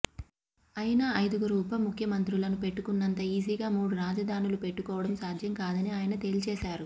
అయినా ఐదుగురు ఉప ముఖ్యమంత్రులను పెట్టుకున్నంత ఈజీగా మూడు రాజధానులు పెట్టుకోవడం సాధ్యం కాదని ఆయన తేల్చేశారు